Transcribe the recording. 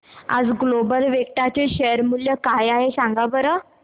आज Global Vectra चे share मूल्य काय आहे सांगा बरं